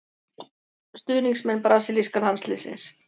Stuðningsmenn brasilíska landsliðsins.